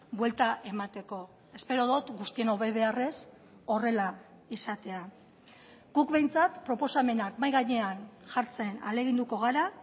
buelta emateko espero dut guztion hobebeharrez horrela izatea guk behintzat proposamenak mahai gainean jartzen ahaleginduko gara